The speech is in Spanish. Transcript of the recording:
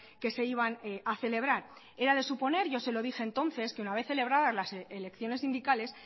que se iban a celebrar era de suponer yo se lo dije entonces que una vez celebradas las elecciones sindicales